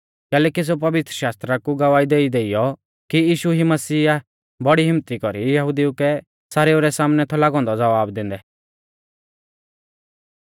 कैलैकि सेऊ पवित्रशास्त्रा कु गवाही देइ देइयौ कि यीशु ई मसीहा आ बड़ी हिम्मत्ती कौरी यहुदिऊ कै सारेऊ रै सामनै थौ लागौ औन्दौ ज़वाब दैंदै